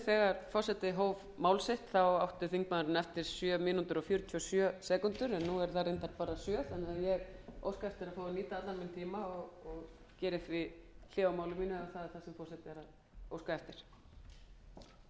þegar forseti hóf mál sitt átti þingmaðurinn eftir sjö mínútur og fjörutíu og sjö sekúndur en nú eru þær reyndar bara sjö þannig að ég óska eftir að fá að nýta allan minn tíma og geri hlé á máli mínu ef það er það sem